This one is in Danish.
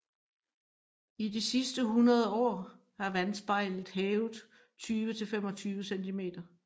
I de sidste 100 år er vandspejlet hævet 20 til 25 cm